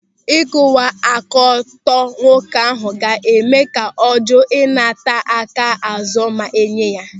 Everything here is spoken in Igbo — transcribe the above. Ịkwụwa aka ọtọ nwoke ahụ ga-eme ka ọ jụụ ịnata aka azụ ma enye ya.